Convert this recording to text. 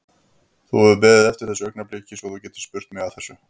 Þú hefur beðið eftir þessu augnabliki svo þú getir spurt mig að þessu?